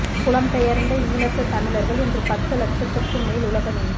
புலம் பெயர்ந்த ஈழத்து தமிழர்கள் இன்று பத்து லட்சத்துக்கும் மேல் உலகமெங்கும்